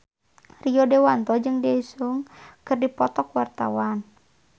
Rio Dewanto jeung Daesung keur dipoto ku wartawan